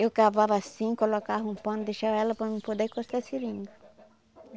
Eu cavava assim, colocava um pano, deixava ela para mim poder cortar a seringa.